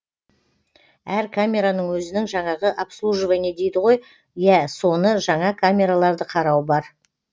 әр камераның өзінің жаңағы обслуживание дейді ғой иә соны жаңа камераларды қарау бар